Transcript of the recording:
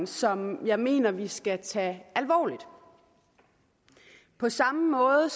som jeg mener vi skal tage alvorligt på samme måde